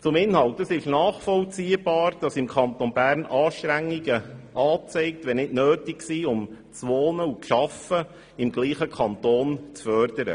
Zum Inhalt: Es ist nachvollziehbar, dass im Kanton Bern Anstrengungen angezeigt sind, die das gleichzeitige Wohnen und Arbeiten im Kanton fördern.